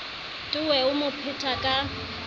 towe o mo phetha ka